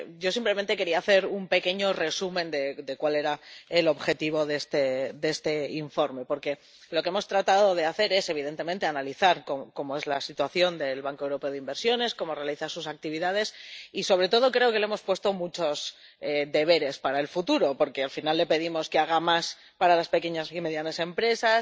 Yo simplemente quería hacer un pequeño resumen de cuál era el objetivo de este informe porque lo que hemos tratado de hacer es, evidentemente, analizar cómo es la situación del Banco Europeo de Inversiones, cómo realiza sus actividades, y, sobre todo, le hemos puesto muchos deberes para el futuro, porque al final le pedimos que haga más para las pequeñas y medianas empresas,